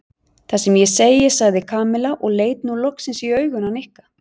Það sem ég segi sagði Kamilla og leit nú loksins í augun á Nikka.